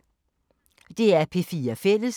DR P4 Fælles